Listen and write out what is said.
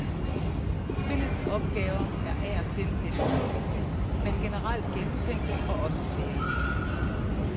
Spillets opgaver er af og til lidt ulogiske, men generelt gennemtænkte og også svære.